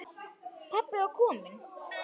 Pabbi var kominn.